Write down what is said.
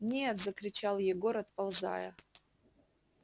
нет закричал егор отползая